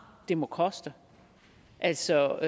det må koste altså